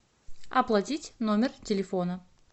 оплатить номер телефона